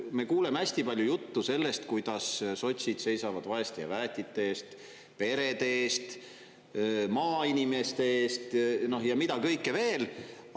Me kuuleme hästi palju juttu sellest, kuidas sotsid seisavad vaeste ja väetite eest, perede eest, maainimeste eest ja mida kõike veel.